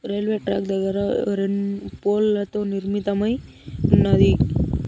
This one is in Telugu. రైల్వే ట్రాక్ దగ్గర రెండ్ పోల్ లతో నిర్మితమై ఉన్నది.